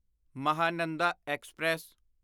Mahananda express